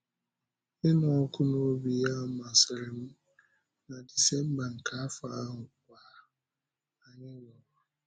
Ịnụ ọkụ n’obi ya masịrị m, na Disemba nke afọ ahụ kwa, anyị lụrụ.